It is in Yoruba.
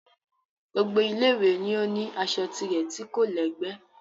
Gbogbo Ilé ìwé ni ó ní aṣọ tirẹ̀ tí kò lẹ́gbẹ́